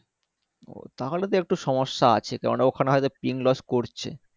ও তাহলেতো একটু সমস্যা আছে কেনোনা ওখানে হয়তো ping loss করছে